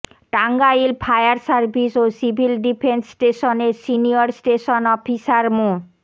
Tangail fire service ও civil defence স্টেশনের senior station officer মো